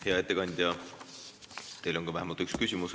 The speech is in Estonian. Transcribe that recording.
Hea ettekandja, teile on vähemalt üks küsimus.